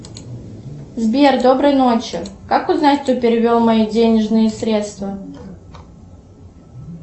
сбер доброй ночи как узнать кто перевел мои денежные средства